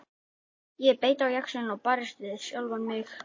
Ég beit á jaxlinn og barðist við sjálfa mig.